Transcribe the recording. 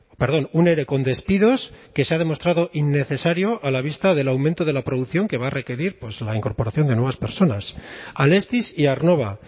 perdón un ere con despidos que se ha demostrado innecesario a la vista del aumento de la producción que va a requerir la incorporación de nuevas personas alestis y aernnova